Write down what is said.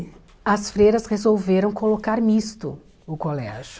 As freiras resolveram colocar misto o colégio.